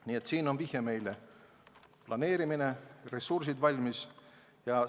Nii et siin on meile vihje – vaja on planeerida ja ressursid valmis panna.